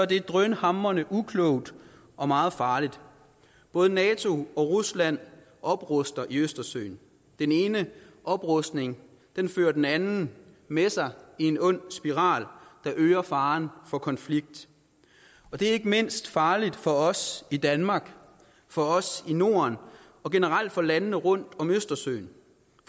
det drønhamrende uklogt og meget farligt både nato og rusland opruster i østersøen den ene oprustning fører den anden med sig i en ond spiral der øger faren for konflikt og det er ikke mindst farligt for os i danmark for os i norden og generelt for landene rundt om østersøen